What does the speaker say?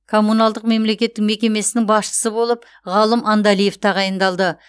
коммуналдық мемлекеттік мекемесінің басшысы болып ғалым андалиев тағайындалды